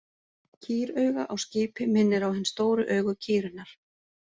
Kýrauga á skipi minnir á hin stóru augu kýrinnar.